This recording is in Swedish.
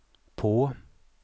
på